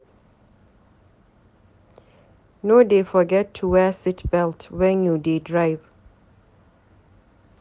No dey forget to wear seat belt wen you dey drive.